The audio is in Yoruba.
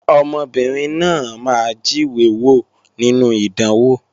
Ọmọbìnrin náà máa jíwé wò nínú ìdánwò